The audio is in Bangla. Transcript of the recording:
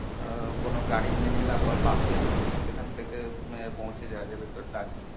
আহ কোনো গাড়ি নিয়ে নিলাম বা bus এ সেখান থেকে এর পৌঁছে যাওয়া যাবে তোর দার্জিলিং।